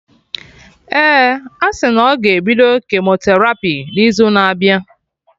Ee, asị na ọ ga-ebido kemoterapi n'izu na abịa